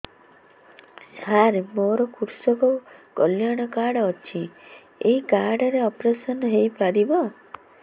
ସାର ମୋର କୃଷକ କଲ୍ୟାଣ କାର୍ଡ ଅଛି ଏହି କାର୍ଡ ରେ ଅପେରସନ ହେଇପାରିବ